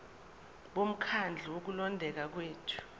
bomkhandlu wokulondeka kwethu